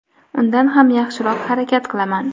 undan ham yaxshiroq harakat qilaman.